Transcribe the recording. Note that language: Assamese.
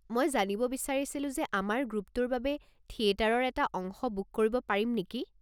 মই জানিব বিচাৰিছিলোঁ যে আমাৰ গ্ৰুপটোৰ বাবে থিয়েটাৰৰ এটা অংশ বুক কৰিব পাৰিম নেকি?